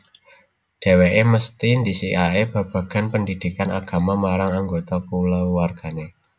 Dhèwèké mesthi ndhisikaké babagan pendhidhikan agama marang anggota kulawargané